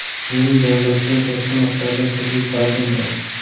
Mening davlatdan katta miqdorda kredit qarzim bor.